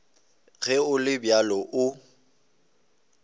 ge go le bjalo o